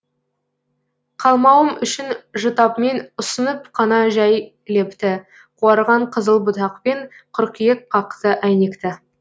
қалмауым үшін жұтап мен ұсынып қана жәй лепті қуарған қызыл бұтақпен қыркүйек қақты әйнекті